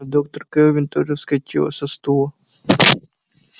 но доктор кэлвин тоже вскочила со стула